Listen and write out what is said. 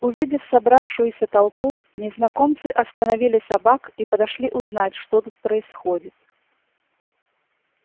увидев собравшуюся толпу незнакомцы остановили собак и подошли узнать что тут происходит